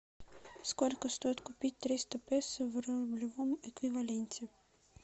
сколько стоит купить триста песо в рублевом эквиваленте